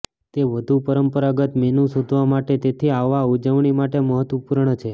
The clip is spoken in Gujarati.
તે વધુ પરંપરાગત મેનુ શોધવા માટે તેથી આવા ઉજવણી માટે મહત્વપૂર્ણ છે